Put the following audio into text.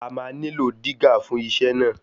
A máa nílò dígà fún iṣẹ́ náà.